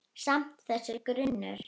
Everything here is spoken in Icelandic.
Samt- þessi grunur.